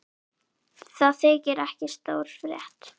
Það þykir ekki stór frétt.